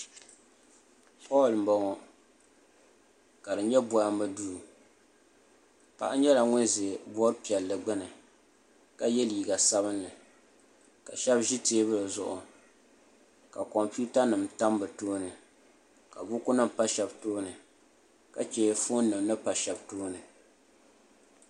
Holl n boŋo ka di nyɛ bohambu duu paɣa nyɛla ŋun ʒɛ bood piɛlli gbuni ka yɛ liiga sabinli ka shab ʒi teebuli zuɣu ka kompiuta nim tam bi tooni ka buku nim pa shab tooni ka chɛ foon nim ni pa shab tooni